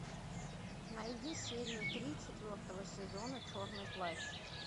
найди серию три четвертого сезона черный плащ